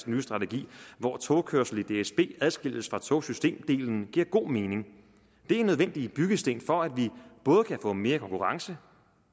nye strategi hvor togkørslen i dsb adskilles fra togsystemdelen giver god mening det er nødvendige byggesten for at vi både kan få mere konkurrence